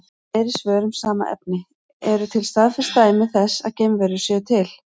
Fleiri svör um sama efni: Eru til staðfest dæmi þess að geimverur séu til?